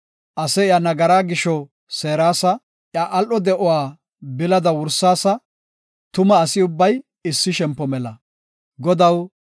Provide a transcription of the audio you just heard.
Ase iya nagaraa gisho seerasa; iya al7o de7uwa bilada wursaasa; tuma asi ubbay issi shempo mela. Salaha